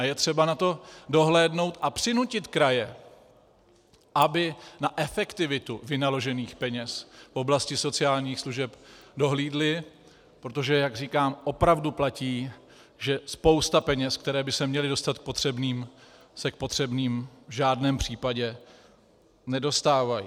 A je třeba na to dohlédnout a přinutit kraje, aby na efektivitu vynaložených peněz v oblasti sociálních služeb dohlédly, protože jak říkám, opravdu platí, že spousta peněz, které by se měly dostat k potřebným, se k potřebným v žádném případě nedostávají.